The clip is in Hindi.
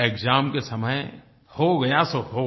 एक्साम के समय हो गया सो हो गया